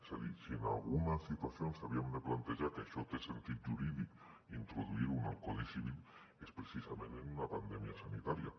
és a dir si en alguna situació s’havia de plantejar que això té sentit jurídic introduir ho en el codi civil és precisament en una pandèmia sanitària